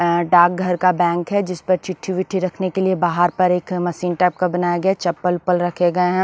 अअ dark घर का bank है जिस पर चिट्ठी विट्ठी रखने के लिए बाहर पर एक मशीन टाइप का बनाया गया चप्पल उप्पल रखे गए हैं ।